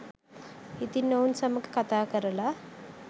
ඉතින් ඔවුන් සමඟ කතා කරල